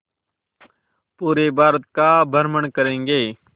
पूरे भारत का भ्रमण करेंगे